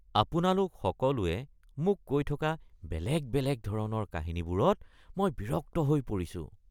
আপোনালোক সকলোৱে মোক কৈ থকা বেলেগ বেলেগ ধৰণৰ কাহিনীবোৰত মই বিৰক্ত হৈ পৰিছোঁ